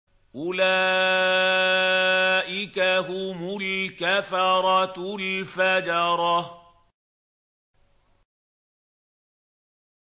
أُولَٰئِكَ هُمُ الْكَفَرَةُ الْفَجَرَةُ